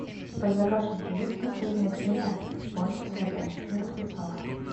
у тебя в загашнике есть последняя серия бойтесь ходячих мертвецов